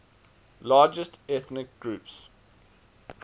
largest ethnic groups